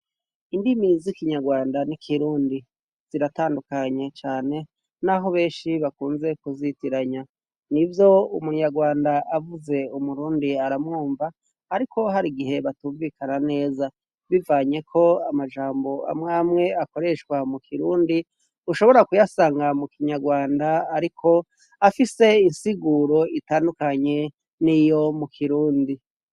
indimi z'ikinyarwanda n'ikirundi ziratandukanye cyane n'aho benshi bakunze kuzitiranya ni vyo umunyarwanda avuze umurundi aramwumva ariko hari igihe batumvikana neza bivanye ko amajambo amwamwe akoreshwa mu kirundi ushobora kuyasanga mu kinyarwanda ariko afise insiguro itandukanye n'iyo mu kirundi